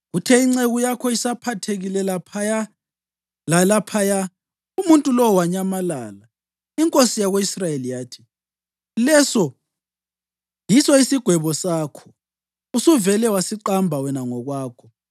Kuthe inceku yakho isaphathekile lapha lalaphaya, umuntu lowo wanyamalala.” Inkosi yako-Israyeli yathi, “Leso yiso isigwebo sakho. Usuvele wasiqamba wena ngokwakho.”